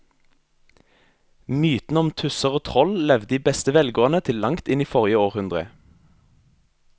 Mytene om tusser og troll levde i beste velgående til langt inn i forrige århundre.